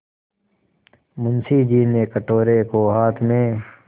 मुंशी जी ने कटोरे को हाथ में